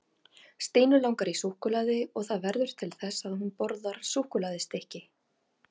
Stínu langar í súkkulaði og það verður til þess að hún borðar súkkulaðistykki.